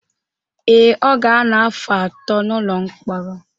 Ee, ọ ga-anọ afọ atọ n’ụlọ mkpọrọ